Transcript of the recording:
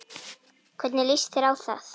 Hvernig líst þér á það